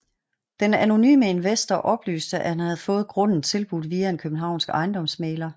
Den anonyme investor oplyste at han havde fået grunden tilbudt via en københavnsk ejendomsmægler